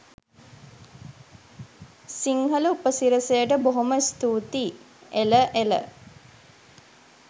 සිංහල උපසිරසියට බොහොම ස්තූතියි! එළ එළ